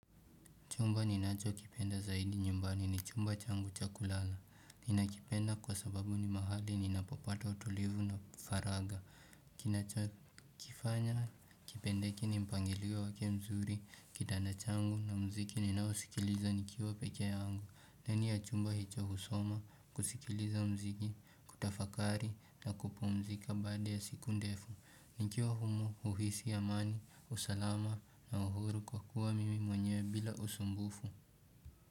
Chumba ninachokipenda zaidi nyumbani ni chumba changu cha kulala. Ninakipenda kwa sababu ni mahali ninapopata utulivu na faragha. Kinachikifanya kipendeke ni mpangilio wake mzuri, kitanda changu na muziki ninaosikiliza nikiwa pekee yangu. Ndani ya chumba hicho husoma, kusikiliza muziki, kutafakari na kupumzika baada ya siku ndefu. Nikiwa humo huhisi amani, usalama na uhuru kwa kuwa mimi mwenyewe bila usumbufu.